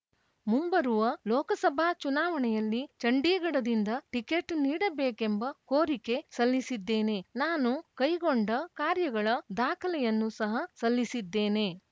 ಮುಂಬರುವ ಲೋಕಸಭಾ ಚುನಾವಣೆಯಲ್ಲಿ ಚಂಡೀಗಢದಿಂದ ಟಿಕೆಟ್‌ ನೀಡಬೇಕೆಂಬ ಕೋರಿಕೆ ಸಲ್ಲಿಸಿದ್ದೇನೆ ನಾನು ಕೈಗೊಂಡ ಕಾರ್ಯಗಳ ದಾಖಲೆಯನ್ನು ಸಹ ಸಲ್ಲಿಸಿದ್ದೇನೆ